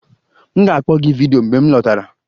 M ga-akpọ gị vidiyo mgbe m lọtara.